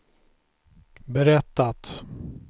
berättat